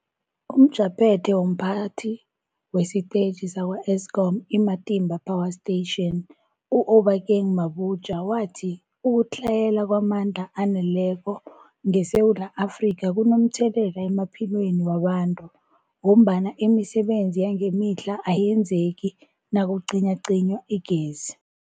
UmJaphethe womPhathi wesiTetjhi sakwa-Eskom i-Matimba Power Station u-Obakeng Mabotja wathi ukutlhayela kwamandla aneleko ngeSewula Afrika kunomthelela emaphilweni wabantu ngombana imisebenzi yangemihla ayenzeki nakucinywacinywa igezi.